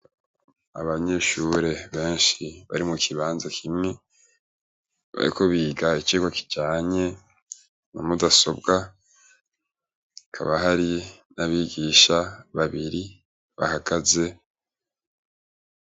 Abanyeshure benshi bari mu kibanza kimwe, bariko biga icigwa kijanye na mudasobwa, hakaba hari n'abigisha babiri bahagaze.